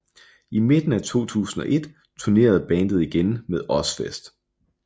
I midten af 2001 turnerede bandet igen med Ozzfest